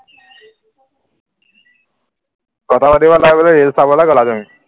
কথা পাতিব নোৱাৰিবলে reel চাবলে গলা তুমি